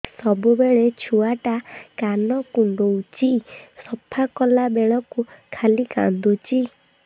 ସବୁବେଳେ ଛୁଆ ଟା କାନ କୁଣ୍ଡଉଚି ସଫା କଲା ବେଳକୁ ଖାଲି କାନ୍ଦୁଚି